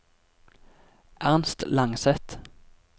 Ernst Langseth